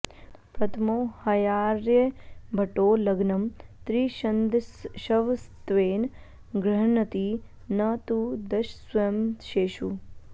प्रथमो ह्यार्यभटो लग्नं त्रिशदंशवत्वेन गृह्णाति न तु दशस्वंशेषु